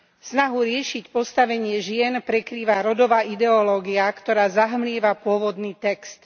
Snahu riešiť postavenie žien prekrýva rodová ideológia, ktorá zahmlieva pôvodný text.